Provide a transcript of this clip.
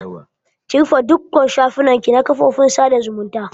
Ki rufe dukka shafukan ki na kafofin sada zumunta!